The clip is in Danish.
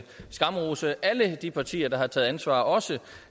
skamrose alle de partier der har taget ansvar også